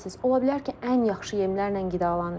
Ola bilər ki, ən yaxşı yemlərlə qidalanır.